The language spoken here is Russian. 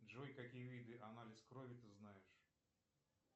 джой какие виды анализ крови ты знаешь